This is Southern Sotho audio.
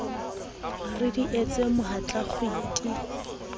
re di etse mohatla kgwiti